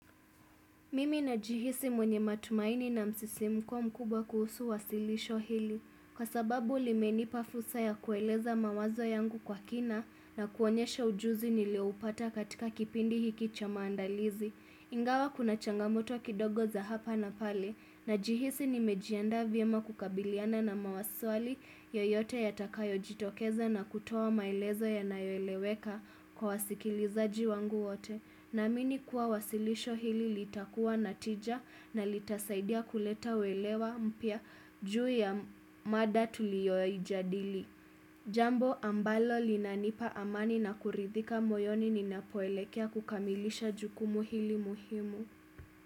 Mimi najihisi mwenye matumaini na msisimko mkubwa kuhusu wasilisho hili. Kwa sababu limeni pafursa ya kueleza mawazo yangu kwa kina na kuonyesha ujuzi nileopata katika kipindi hiki cha maandalizi. Ingawa kuna changamoto kidogo za hapa na pale. Na jihisi nimejiandaa vyema kukabiliana na maswali yoyote yatakayo jitokeza na kutoa maelezo yanayoeleweka kwa wasikilizaji wangu wote. Na amini kuwa wasilisho hili litakuwa na tija na litasaidia kuleta uelewa mpya juu ya mada tuliyoijadili. Jambo ambalo linanipa amani na kuridhika moyoni ninapoelekea kukamilisha jukumu hili muhimu.